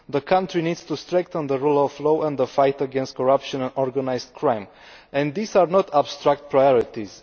The country needs to strengthen the rule of law and the fight against corruption and organised crime, and these are not abstract priorities.